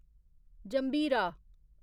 जंभीरा